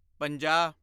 ਪੰਜਾਹ